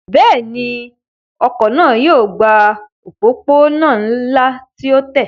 Bẹ́ẹ̀ni, ọkọ̀ náà yóò gba òpópónà ńlá tí ó tẹ́